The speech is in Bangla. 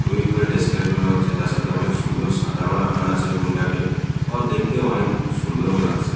ওই উপরে ডেস্ক্রাইব করা হচ্ছে তার সাথে অনেক সুন্দর সাজানো রাখানো আছে রুম -টাকে। অর- দেখতেও অনেক সুন্দরও লাগছে।